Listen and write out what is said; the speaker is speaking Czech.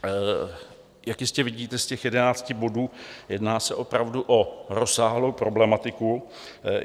Jak jistě vidíte z těch jedenácti bodů, jedná se opravdu o rozsáhlou problematiku.